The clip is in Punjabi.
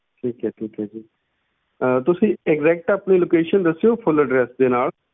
ਠੀਕ ਹੈ ਠੀਕ ਹੈ ਜੀ ਅਹ ਤੁਸੀਂ exact ਆਪਣੀ location ਦੱਸਿਓ full address ਦੇ ਨਾਲ,